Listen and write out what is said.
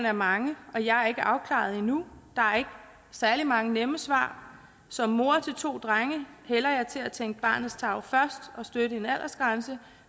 er mange og jeg er ikke afklaret endnu der er ikke særlig mange nemme svar som mor til to drenge hælder jeg til at tænke barnets tarv først og støtte en aldersgrænse